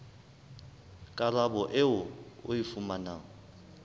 karabo eo o e fumanang